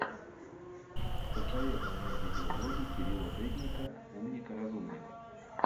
посоветуй мне видеоблоги кирилла дедника умника разумника